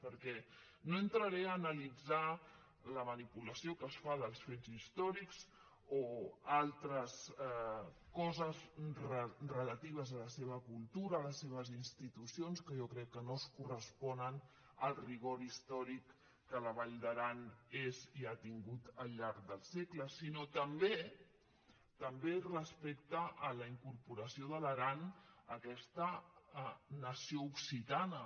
perquè no entraré a analitzar la manipulació que es fa dels fets històrics o altres coses relatives a la seva cultura a les seves institucions que jo crec que no es corres·ponen al rigor històric que la vall d’aran ha tingut al llarg dels segles sinó també també respecte a la in·corporació de l’aran a aquesta nació occitana